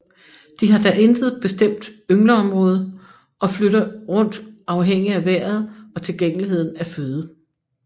De har da intet bestemt yngleområde og flytter rundt afhængig af vejret og tilgængeligheden af føde